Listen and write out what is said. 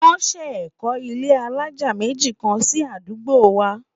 wón sé kò ilé alájá méjì kàn sí àdúgbò wa